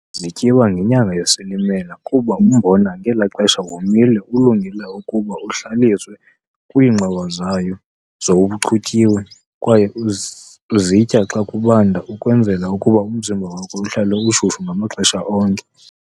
Zityiwa ngenyanga yesilimela kuba umbona ngelaxesha womile ulungele ukuba uhlaliswe kwingxowa zayo sowuchutyiwe kwaye uzitya xa kubanda ukwenzela ukuba umzimba wakho uhlale ushushu ngamaxhesha onke.